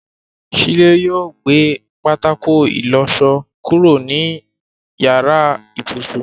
Shílé yóò gbé pátákó ìlọṣọ kúrò ní yàrá ibùsùn.